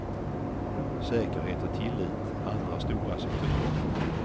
Säkerhet och tillit är andra stora sektorer.